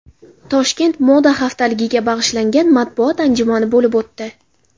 Toshkent moda haftaligiga bag‘ishlangan matbuot anjumani bo‘lib o‘tdi.